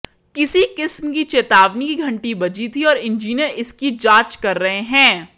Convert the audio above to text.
किसी किस्म की चेतावनी की घंटी बजी थी और इंजीनियर इसकी जांच कर रहे हैं